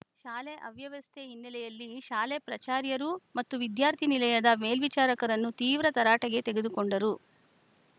ಶಾಲೆ ಅವ್ಯವಸ್ಥೆ ಹಿನ್ನೆಲೆಯಲ್ಲಿ ಶಾಲೆ ಪ್ರಚಾರ್ಯರು ಮತ್ತು ವಿದ್ಯಾರ್ಥಿನಿಲಯದ ಮೇಲ್ವಿಚಾರಕರನ್ನು ತೀವ್ರ ತರಾಟೆಗೆ ತೆಗೆದುಕೊಂಡರು